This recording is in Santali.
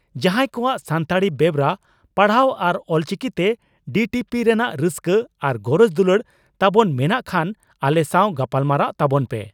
ᱡᱟᱦᱟᱸᱭ ᱠᱚᱣᱟᱜ ᱥᱟᱱᱛᱟᱲᱤ ᱵᱮᱣᱨᱟ ᱯᱟᱲᱦᱟᱣ ᱟᱨ ᱚᱞᱪᱤᱠᱤᱛᱮ ᱰᱤᱴᱤᱯᱤ ᱨᱮᱱᱟᱜ ᱨᱟᱹᱥᱠᱟᱹ ᱟᱨ ᱜᱚᱨᱚᱡᱽ ᱫᱩᱞᱟᱹᱲ ᱛᱟᱵᱚᱱ ᱢᱮᱱᱟᱜ ᱠᱷᱟᱱ ᱟᱞᱮ ᱥᱟᱣ ᱜᱟᱞᱢᱟᱨᱟᱣ ᱛᱟᱵᱚᱱ ᱯᱮ ᱾